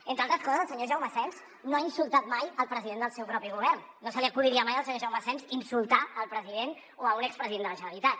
entre altres coses el senyor jaume asens no ha insultat mai el president del seu propi govern no se li acudiria mai al senyor jaume asens insultar el president o un expresident de la generalitat